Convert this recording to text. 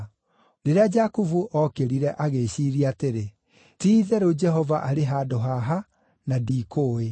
Rĩrĩa Jakubu ookĩrire, agĩĩciiria atĩrĩ, “Ti-itherũ Jehova arĩ handũ haha, na ndiikũũĩ.”